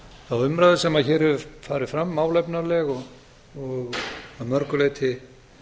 þá umræðu sem hér hefur farið fram sem er málefnaleg og að mörgu leyti